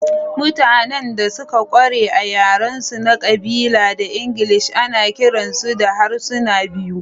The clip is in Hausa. Mutanen da suka ƙware a yarensu na ƙabila da Ingilishi ana kiransu da harsuna biyu.